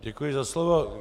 Děkuji za slovo.